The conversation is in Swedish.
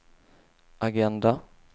agenda